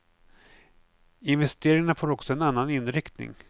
Investeringarna får också en annan inriktning.